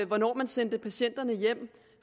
hvornår man sendte patienterne hjem